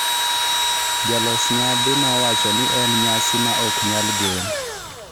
jolos nyasi no wacho ni en nyasi ma ok nyal gen